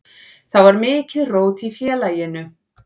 Þá var mikið rót í félaginu.